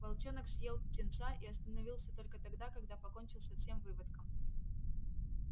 волчонок съел птенца и остановился только тогда когда покончил со всем выводком